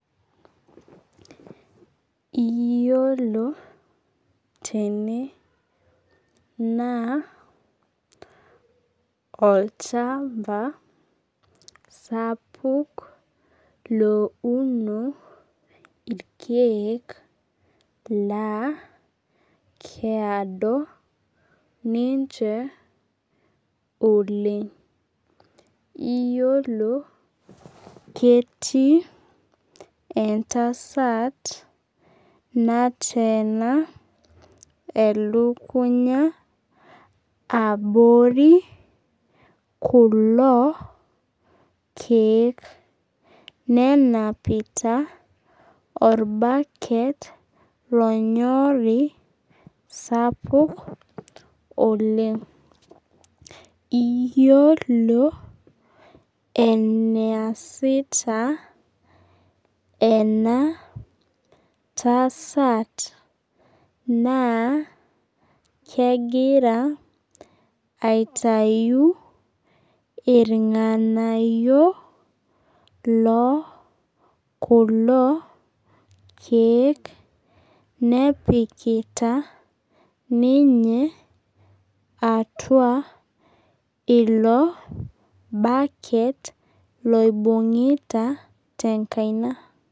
Iyiolo tene naa olchamba sapuk louno irkeek laa keyado ninche oleng. Iyiolo ketii entasat nateena elukunya abori kulo keek. Nenapita orbaket lonyori sapuk oleng. Iyiolo eneesita ena tasat, naa kegira aitayu irng'anayio lokulo keek nepikita ninye atua ilo baket loibung'ita tenkaina.